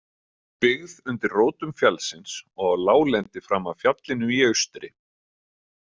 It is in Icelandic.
Byggð undir rótum fjallsins og á láglendi fram af fjallinu í austri.